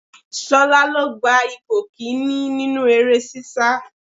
Ṣolá lo gba ipò kìíní nínú eré sisa.